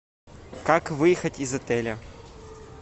как выехать из отеля